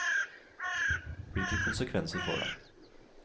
Hvilke konsekvenser får det?